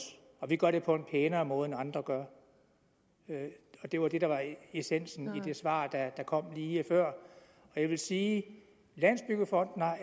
og vi gør det på en pænere måde end andre gør det var det der var essensen i det svar der kom lige før jeg vil sige at landsbyggefonden